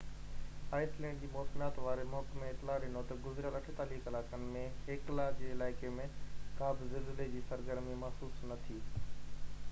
ice land جي موسميات واري محڪمي اطلاع ڏنو تہ گذريل 48 ڪلاڪن ۾ هيڪلا جي علائقي ۾ ڪا بہ زلزلي جي سرگرمي محسوس نہ ٿي